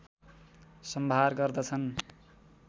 सम्भार गर्दछन्